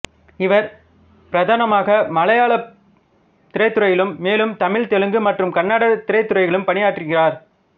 இவர் பிரதானமாக மலையாள திரைத்துறையிலும் மேலும் தமிழ் தெலுங்கு மற்றும் கன்னட திரைத்துறைகளிலும் பணியாற்றுகிறார்